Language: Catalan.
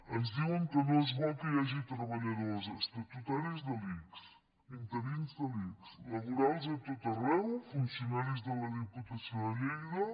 ens diuen que no és bo que hi hagi treballadors estatutaris de l’ics interins de l’ics laborals a tot arreu funcionaris de la diputació de lleida